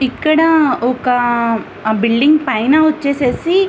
ఇక్కడా ఒకా బిల్డింగ్ పైన ఓచేసేసి --